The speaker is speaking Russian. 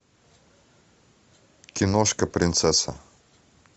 киношка принцесса